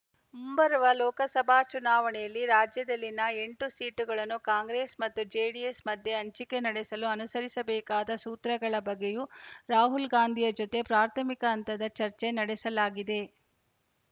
ಮುಂಬರುವ ಲೋಕಸಭಾ ಚುನಾವಣೆಯಲ್ಲಿ ರಾಜ್ಯದಲ್ಲಿನ ಎಂಟು ಸೀಟುಗಳನ್ನು ಕಾಂಗ್ರೆಸ್‌ ಮತ್ತು ಜೆಡಿಎಸ್‌ ಮಧ್ಯೆ ಹಂಚಿಕೆ ನಡೆಸಲು ಅನುಸರಿಸಬೇಕಾದ ಸೂತ್ರಗಳ ಬಗ್ಗೆಯೂ ರಾಹುಲ್‌ ಗಾಂಧಿಯ ಜೊತೆ ಪ್ರಾಥಮಿಕ ಹಂತದ ಚರ್ಚೆ ನಡೆಸಲಾಗಿದೆ